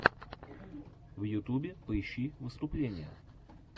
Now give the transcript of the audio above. в ютюбе поищи выступления